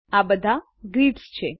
આ બધા ગ્રીડ્સનાના ચોરસો છે